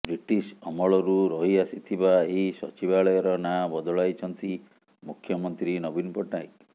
British ଅମଳରୁ ରହି ଆସିଥିବା ଏହି ସଚିବାଳୟର ନାଁ ବଦଳାଇଛନ୍ତି ମୁଖ୍ୟମନ୍ତ୍ରୀ ନବୀନ ପଟ୍ଟନାକୟ